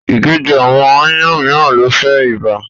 Ìgéjẹ àwọn aáyán mìíràn le fa ibà.